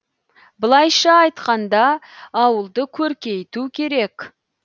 былайша айтқанда ауылды көркейту керек